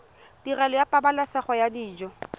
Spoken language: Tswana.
tirelo ya pabalesego ya dijo